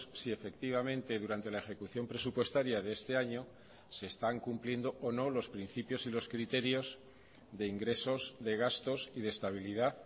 si efectivamente durante la ejecución presupuestaria de este año se están cumpliendo o no los principios y los criterios de ingresos de gastos y de estabilidad